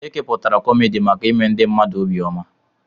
Ekepụtara kọmedi maka ime ndị mmadụ obi ọma.